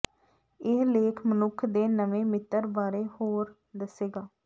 ਇਹ ਲੇਖ ਮਨੁੱਖ ਦੇ ਨਵੇਂ ਮਿੱਤਰ ਬਾਰੇ ਹੋਰ ਦੱਸੇਗਾ